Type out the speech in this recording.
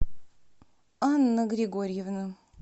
анна григорьевна